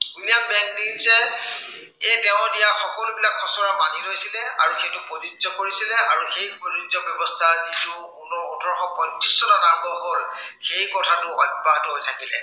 William বেংকিঙচে এৰ তেওঁ দিয়া সকলোবিলাক খচৰা মানি লৈছিলে আৰু সেইটো প্ৰযোজ্য় কৰিছিলে আৰু সেই ব্য়ৱস্থাৰ কিছু পুনৰ ওঠৰশ পয়ত্ৰিশ চনত আৰম্ভ হৈ সেই কথাটো অব্য়াহত হৈ থাকিলে।